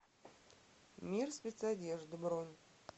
мир спецодежды бронь